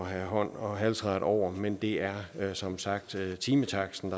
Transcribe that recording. have hånd og halsret over men det er som sagt timetaksten